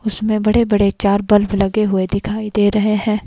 उसमें बड़े बड़े चार बल्ब लगे हुए दिखाई दे रहे है।